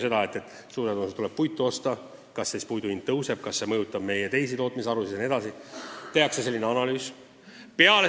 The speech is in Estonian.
Näiteks kui tuleb puitu osta, kas siis puidu hind tõuseb ja kas see mõjutab meie teisi tootmisharusid jne – selline analüüs tehakse.